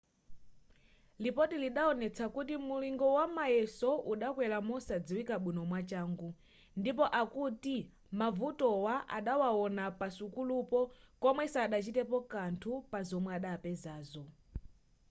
lipoti lidaonetsa kuti mulingo wamayeso udakwera mosadziwika bwino mwachangu ndipo akuti mavutowa adawawona pasukulupo koma sadachitepo kanthu pa zomwe adapezazo